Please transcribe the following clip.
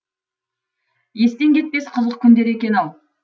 естен кетпес қызық күндер екен ау